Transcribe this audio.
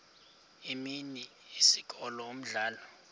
imini isikolo umdlalo